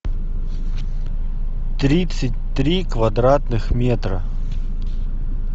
тридцать три квадратных метра